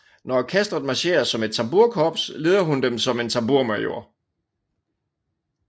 Når orkestret marcherer som et tamburkops leder hun dem som en tamburmajor